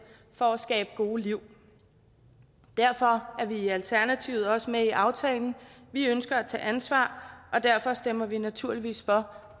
for at skabe gode liv derfor er vi i alternativet også med i aftalen vi ønsker at tage ansvar og derfor stemmer vi naturligvis for